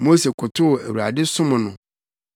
Mose kotow Awurade som no.